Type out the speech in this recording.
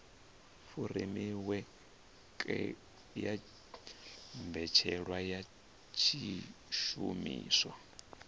furemiweke ya mbetshelwa ya zwishumiswa